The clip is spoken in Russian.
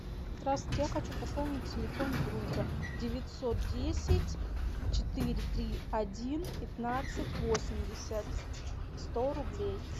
здравствуйте я хочу пополнить телефон друга девятьсот десять четыре три один пятнадцать восемьдесят сто рублей